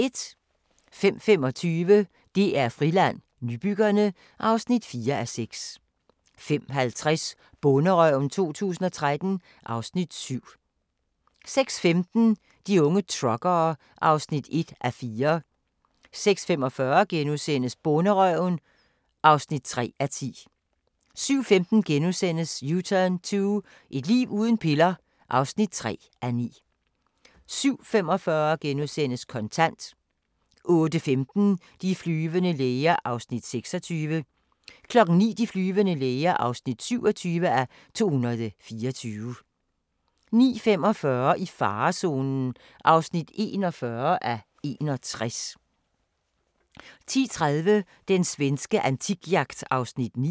05:25: DR Friland: Nybyggerne (4:6) 05:50: Bonderøven 2013 (Afs. 7) 06:15: De unge truckere (1:4) 06:45: Bonderøven (3:10)* 07:15: U-turn 2 – et liv uden piller (3:9)* 07:45: Kontant * 08:15: De flyvende læger (26:224) 09:00: De flyvende læger (27:224) 09:45: I farezonen (41:61) 10:30: Den svenske antikjagt (9:10)